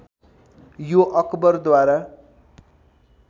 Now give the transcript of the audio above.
यो अकबर द्वारा